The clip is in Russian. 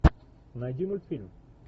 найди мультфильм